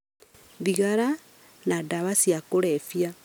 thigara, na ndawa cia kũrebia,